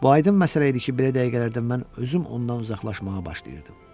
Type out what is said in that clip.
Bu aydın məsələ idi ki, belə dəqiqələrdə mən özüm ondan uzaqlaşmağa başlayırdım.